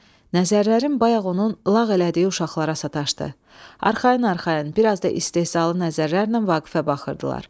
Nəzərlərim bayaq onun lağ elədiyi uşaqlara sataşdı, arxayın-arxayın, biraz da istehzalı nəzərlərlə Vaqifə baxırdılar.